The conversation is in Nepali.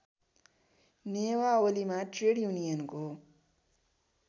नियमावलीमा ट्रेड युनियनको